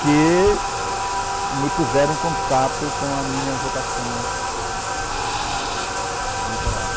Que me puseram em contato com a minha vocação literária.